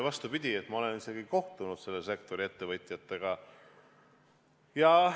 Vastupidi, ma olen isegi kohtunud selle sektori ettevõtjatega.